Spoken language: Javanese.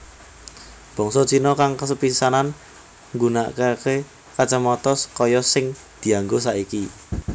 Bangsa Cina kang sepisanan nggunakaké kacamata kaya sing dianggo saiki